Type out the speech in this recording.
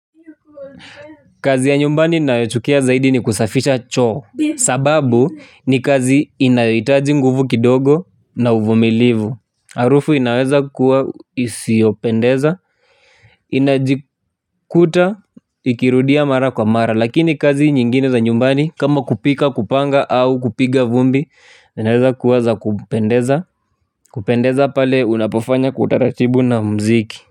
Kazi ya nyumbani ninayochukia zaidi ni kusafisha choo. Sababu ni kazi inayoitaji nguvu kidogo na uvumilivu. Arufu inaweza kuwa isiopendeza. Inajikuta ikirudia mara kwa mara. Lakini kazi nyingine za nyumbani kama kupika kupanga au kupiga vumbi inaweza kuwa za kupendeza. Kupendeza pale unapofanya kwa utaratibu na mziki.